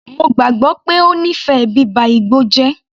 Mo gbàgbọ́ pé ó nífẹ̀ẹ́ bíba igbó jẹ́.